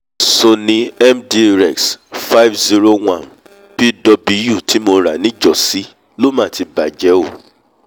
sony mdrex50lpw tí mo rà níjọ̀ọ́sí ló mà ti bàjẹ́ o